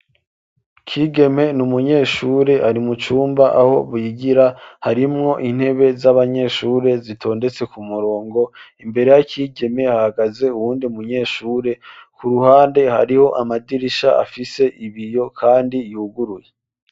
Kigeme ni umunyeshure ari mu cumba aho bigira, harimwo intebe z'abanyeshure zitondetse ku murongo, imbere ya Kigeme hahagaze uwundi munyeshure, ku ruhande hariho amadirisha afise ibiyo kandi yuguruye.